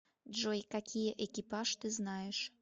джой какие экипаж ты знаешь